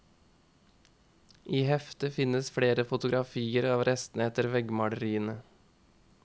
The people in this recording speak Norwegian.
I heftet finnes flere fotografier av restene etter veggmaleriene.